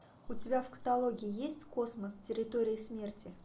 у тебя в каталоге есть космос территория смерти